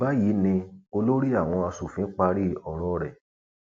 báyìí ni olórí àwọn asòfin parí ọrọ rẹ